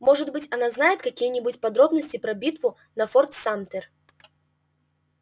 может быть она знает какие-нибудь подробности про битву на форт самтер